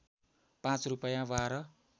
पाँच रूपैयाँ बाह्र